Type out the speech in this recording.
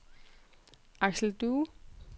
Aksel Due